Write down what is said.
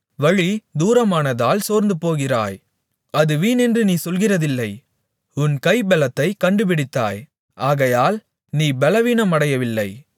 வழிதூரமானதால் சோர்ந்துபோகிறாய் அது வீணென்று நீ சொல்கிறதில்லை உன் கைபெலத்தைக் கண்டுபிடித்தாய் ஆகையால் நீ பெலவீனமடையவில்லை